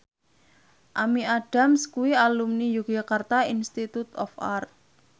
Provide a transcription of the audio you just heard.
Amy Adams kuwi alumni Yogyakarta Institute of Art